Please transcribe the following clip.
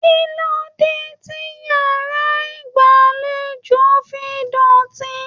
Kilode ti yàrá ìgbàlèjo fí dótì?